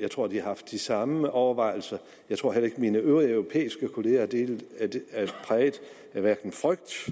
jeg tror de har haft de samme overvejelser jeg tror heller ikke at mine øvrige europæiske kolleger er præget af hverken frygt